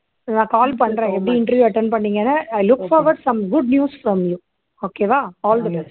நான் call பண்றேன் எப்படி interview attend பண்ணீங்கன்னு i look forward some good news from you okay வா all the best